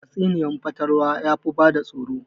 Tatsuniyar fatalwa yafi bada tsoro